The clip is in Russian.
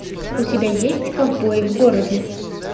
у тебя есть ковбои в городе